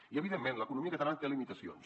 i evidentment l’economia catalana té limitacions